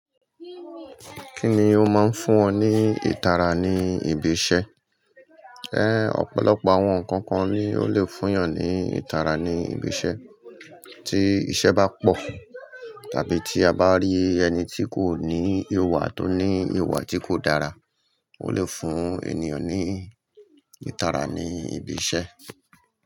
Kíni ó máa ń fún ọ ní ìtara ní ibi iṣẹ́? Ọ̀pọ̀lọpọ̀ àwọn nǹkan kan ni ó lè fún ọ ní ìtara ní ibi iṣẹ́. Tí iṣẹ́ bá pọ̀ tàbí tí a bá rí ẹni tí kò ní ìwà tó ní ìwà tí kò dára, ó lè fún ènìyàn ní ìtara ní ibi iṣẹ́